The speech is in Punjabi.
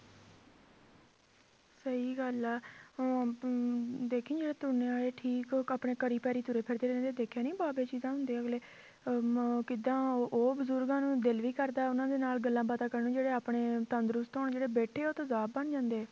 ਸਹੀ ਗੱਲ ਆ ਹੁਣ ਤੂੰ ਦੇਖੀਂ ਜਿਹੜੇ ਤੁਰਨੇ ਵਾਲੇ ਠੀਕ ਆਪਣੇ ਘਰੀ ਪੈਰੀਂ ਤੁਰੇ ਫਿਰਦੇ ਰਹਿੰਦੇ ਦੇਖਿਆ ਨੀ ਅਗਲੇ ਅਹ ਮ~ ਕਿੱਦਾਂ ਉਹ ਬਜ਼ੁਰਗਾਂ ਨੂੰ ਦਿਲ ਵੀ ਕਰਦਾ ਉਹਨਾਂ ਦੇ ਨਾਲ ਗੱਲਾਂ ਬਾਤਾਂ ਕਰਨ ਨੂੰ ਜਿਹੜੇ ਆਪਣੇ ਤੰਦਰੁਸਤ ਹੋਣ ਜਿਹੜੇ ਬੈਠੇ ਉਹ ਬਣ ਜਾਂਦੇ ਆ